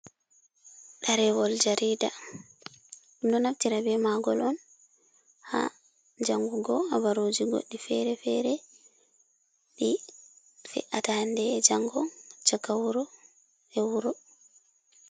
Ɗarewol jarida, ɗum ɗo naftira be magol on ha jangugo habaruji goɗɗi fere-fere ɗi fe’ata hande e jango, caka wuro e wuro.